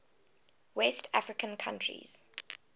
west african countries